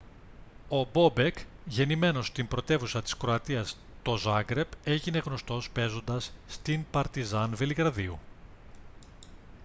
ο μπόμπεκ γεννημένος στην πρωτεύουσα της κροατίας το ζάγκρεπ έγινε γνωστός παίζοντας στην παρτιζάν βελιγραδίου